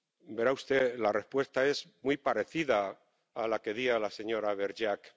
Verá usted, la respuesta es muy parecida a la que di a la señora Vergiat.